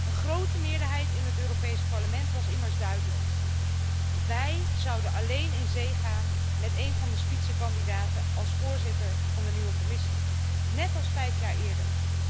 Een grote meerderheid in het Europees Parlement was immers duidelijk wij zouden alleen in zee gaan met een van de Spitzenkandidaten als voorzitter van de nieuwe Commissie, net als vijf jaar eerder.